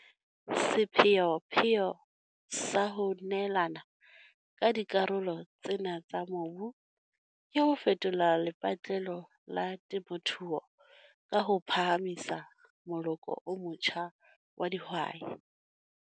Sepheopheo sa ho neelana ka dikarolo tsena tsa mobu ke ho fetola lepatlelo la temothuo ka ho phahamisa moloko o motjha wa dihwai.